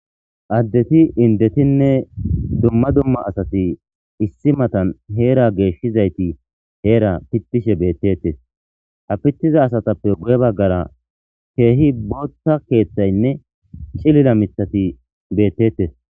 addeti indetinne dumma dumma asati issi matan heera geeshshizayti heera pittishe beettettes ha pittiza asatappe guye baggara keehi bootta keeththaynne cilila mithati beettettes